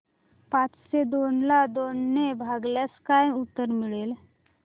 पाचशे दोन ला दोन ने भागल्यास काय उत्तर मिळेल